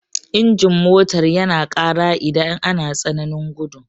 Injin motar yana ƙara idan ana tsananin gudu.